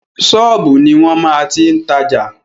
Ṣọ́ọ̀bù ni wọ́n máa ti tajà.